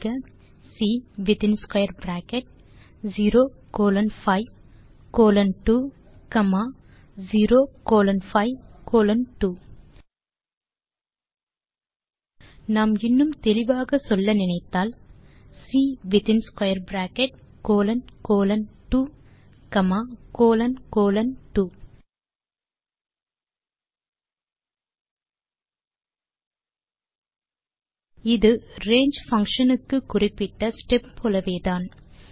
type செய்க C within square bracket 0 colon 5 colon 2 comma 0 colon 5 colon 2 நாம் இன்னும் தெளிவாக சொல்ல நினைத்தால் C within square bracket colon colon 2 comma colon colon 2 இது ரங்கே பங்ஷன் க்கு குறிப்பிட்ட ஸ்டெப் போலவேதான்